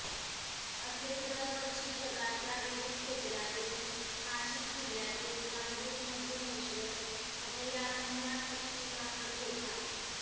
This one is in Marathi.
असेच दरवर्षी जगाच्या विविध कोपऱ्यातून नाशिक जिल्ह्यातील नांदूरमध्यमेश्वर अभयारण्यात पक्षी दाखल होतात